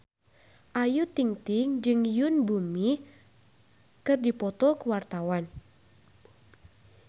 Ayu Ting-ting jeung Yoon Bomi keur dipoto ku wartawan